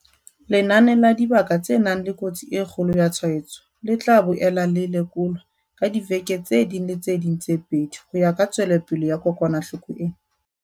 Lenane la dibaka tse nang le kotsi e kgolo ya tshwaetso le tla boela le lekolwa ka diveke tse ding le tse ding tse pedi ho ya ka tswelopele ya kokwanahloko ena.